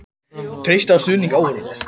Treysta á stuðning áhorfenda